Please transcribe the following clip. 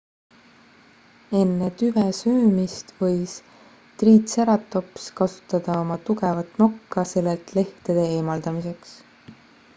enne tüve söömist võis triitseratops kasutada oma tugevat nokka sellelt lehtede eemaldamiseks